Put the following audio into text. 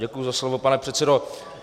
Děkuji za slovo, pane předsedo.